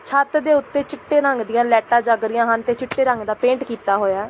ਛੱਤ ਦੇ ਉੱਤੇ ਚਿੱਟੇ ਰੰਗ ਦੀਆਂ ਲਾਈਟਾਂ ਜਗ ਰਹੀਆਂ ਹਨ ਤੇ ਚਿੱਟੇ ਰੰਗ ਦੇ ਪੇਂਟ ਕੀਤਾ ਹੋਇਆ।